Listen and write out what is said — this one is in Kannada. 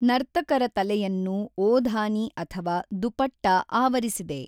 ನರ್ತಕರ ತಲೆಯನ್ನು ಓಧಾನಿ ಅಥವಾ ದುಪಟ್ಟಾ ಆವರಿಸಿದೆ.